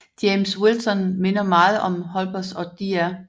James Wilson minder meget om Holmes og Dr